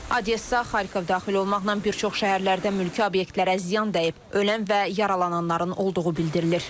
Odessa, Xarkov daxil olmaqla bir çox şəhərlərdə mülki obyektlərə ziyan dəyib, ölən və yaralananların olduğu bildirilir.